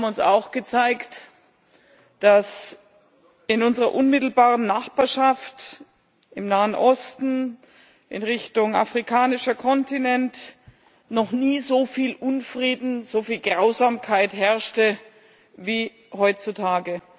Sie haben uns auch gezeigt, dass in unserer unmittelbaren Nachbarschaft im Nahen Osten, in Richtung afrikanischer Kontinent noch nie so viel Unfrieden, so viel Grausamkeit herrschte wie heutzutage.